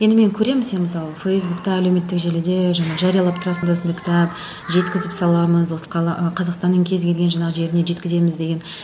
енді мен көремін сені мысалы фейсбукта әлеуметтік желіде жаңағы жариялап тұрасың осындай кітап жеткізіп саламыз осы қала қазақстанның кез келген жаңағы жеріне жеткіземіз деген